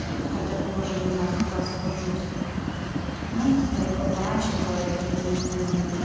хотя попозже не знаю сколько освобожусь можно задать либо пораньше либо какие-то меня задание